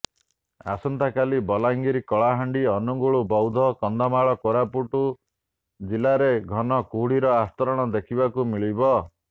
ଆସନ୍ତାକାଲି ବଲାଙ୍ଗୀର କଳାହାଣ୍ଡି ଅନୁଗୁଳ ବୌଦ୍ଧ କନ୍ଧମାଳ ଓ କୋରାପୁଟ ଜିଲ୍ଲାରେ ଘନକୁହୁଡିର ଆସ୍ତରଣ ଦେଖିବାକୁ ମିଳିବ